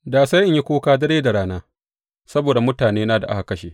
Da sai in yi kuka dare da rana saboda mutanena da aka kashe.